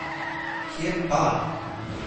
Kje pa!